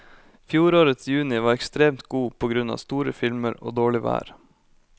Fjorårets juni var ekstremt god på grunn av store filmer og dårlig vær.